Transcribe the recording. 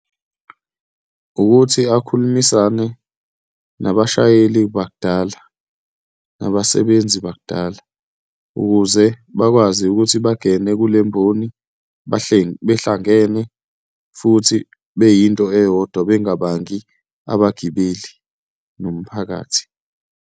Ukuthi akhulumisane nabashayeli bakudala nabasebenzi bakudala ukuze bakwazi ukuthi bangene kule mboni behlangene futhi beyinto eyodwa, bengabangi abagibeli nomphakathi.